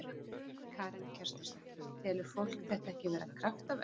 Karen Kjartansdóttir: Telur fólk þetta ekki vera kraftaverk?